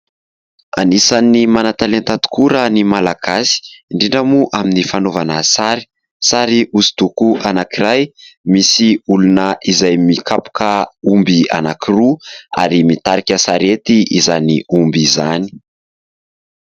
Anisan'ny manan-talenta tokoa raha ny malagasy, indrindra moa amin'ny fanaovana sary. Sary hoso-doko anankiray, misy olona izay mikapoka omby anankiroa ary mitarika sarety izany omby izany.